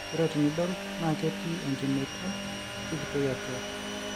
ore tenidol naa ketii enkimeito sikitoi atua